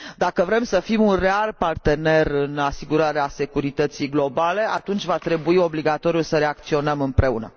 Dacă vrem să fim un real partener în asigurarea securității globale, atunci va trebui obligatoriu să reacționăm împreună.